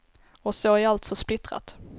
Och så är allt så splittrat.